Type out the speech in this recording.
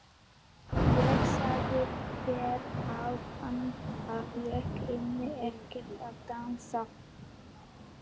Ég sagði þér áðan að ég kynni ekkert að dansa.